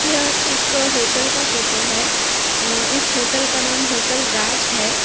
यह एक होटल का फोटो है अ इस होटल का नाम होटल राज है।